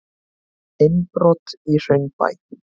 Innbrot í Hraunbæ